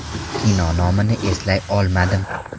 Kino nomini eslay olmadim.